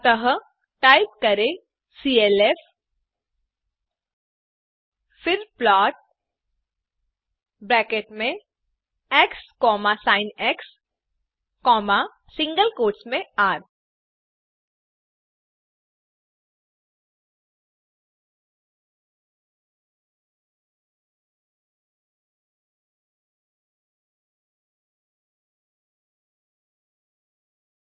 अतः टाइप करें सीएलएफ फिर प्लॉट ब्रैकेट्स में xसिन सिंगल कोट्स में र